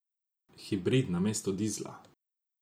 Hibrid namesto dizla?